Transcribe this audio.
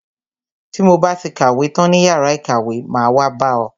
Ti mo ba ti kàwé tán ní yàrá ìkàwé, máa wá bá ọ.